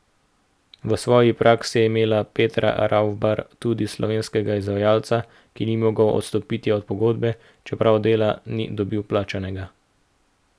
V svoji praksi je imela Petra Ravbar tudi slovenskega izvajalca, ki ni mogel odstopiti od pogodbe, čeprav dela ni dobil plačanega.